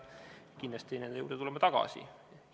Kindlasti tuleme nende juurde tagasi.